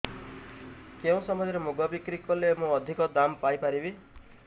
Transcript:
କେଉଁ ସମୟରେ ମୁଗ ବିକ୍ରି କଲେ ମୁଁ ଅଧିକ ଦାମ୍ ପାଇ ପାରିବି